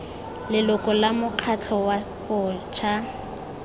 leloko la mokgatlho wa bašwa